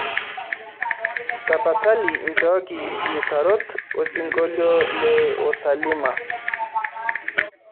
tapasali nchooki iutarot osingolio le o.zaalima